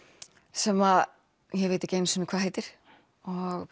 sem ég veit ekki einu sinni hvað heitir og